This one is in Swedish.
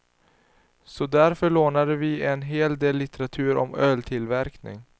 Så därför lånade vi en hel del litteratur om öltillverkning.